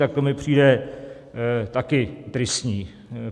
Tak to mi přijde také tristní.